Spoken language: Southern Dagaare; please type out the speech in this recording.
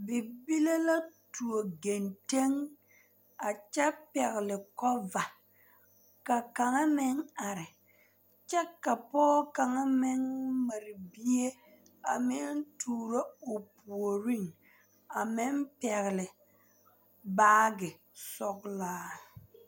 Bibile la tuo gentɛŋ a kyɛ pɛgle kova ka kaŋa meŋ are kyɛ ka pɔge kaŋa meŋ mare bie a meŋ tuuro o puoriŋ a meŋ pɛgle baagi sɔglaa.